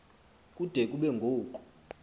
kude kube ngoku